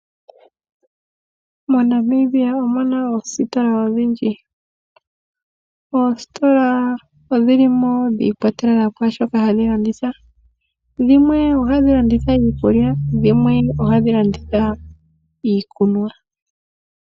MoNamibia omuna oositola odhindji, oositola odhili mo dhiikwatelela kwaashoka hadhilanditha, dhimwe ohadhi landitha iikulya, dhimwe oha dhi landitha iikunwa.